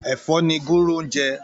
Èfò ni gúrú n jè